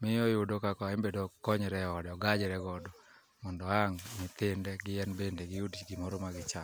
miyo oyudo kaka embe dokonyre e ode ogajre godo mondo ang' nyithinde gi en bende giyud gimoro ma gicham.